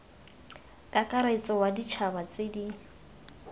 kakaretso wa ditšhaba tse di